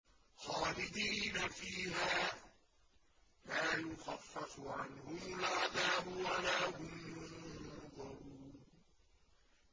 خَالِدِينَ فِيهَا ۖ لَا يُخَفَّفُ عَنْهُمُ الْعَذَابُ وَلَا هُمْ يُنظَرُونَ